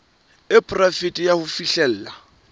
e poraefete ya ho fihlella